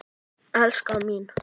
Elskan mín!